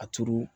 A turu